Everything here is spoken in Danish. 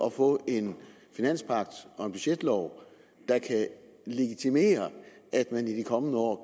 at få en finanspagt og en budgetlov der kan legitimere at man i de kommende år